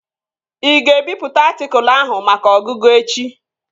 Ị ga-ebipụta atịkụlu ahụ maka ọgụgụ echi?